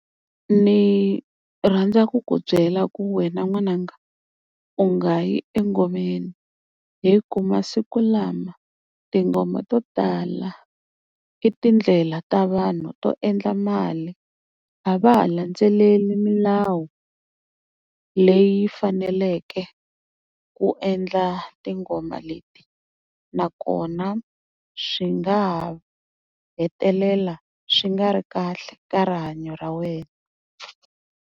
Ni rhandza ku ku byela ku wena n'wananga u nga yi engomeni, hi ku masiku lama tingoma to tala i tindlela ta vanhu to endla mali. A va ha landzeleli milawu leyi faneleke ku endla tingoma leti, nakona swi nga ha hetelela swi nga ri kahle ka rihanyo ra wena.